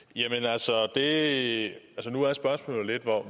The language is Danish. det helt